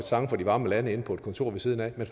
sang fra de varme lande inde på et kontor ved siden af at man